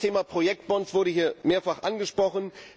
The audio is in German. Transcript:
Das Thema Projektbonds wurde mehrfach angesprochen.